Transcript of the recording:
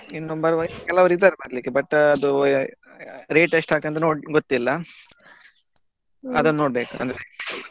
ಇನ್ನು ಕೆಲವ್ರು ಇದ್ದಾರೆ ಬರ್ಲಿಕ್ಕೆ but ಅದು rate ಎಷ್ಟ್ ಆಗತ್ ಅಂತ ಗೊತ್ತಿಲ್ಲ ಅದನ್ನು ನೋಡ್ಬೇಕು ಅಂದ್ರೆ.